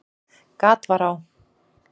Gat var á